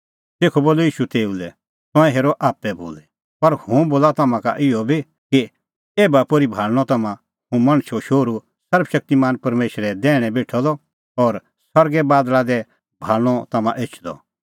तेखअ बोलअ ईशू तेऊ लै तंऐं हेरअ आप्पै बोली पर हुंह बोला तम्हां का इहअ बी कि एभा पोर्ही भाल़णअ तम्हां हुंह मणछो शोहरू सर्वशक्तिमान परमेशरे दैहणै बेठअ द और सरगे बादल़ा दी भाल़णअ तम्हां एछदअ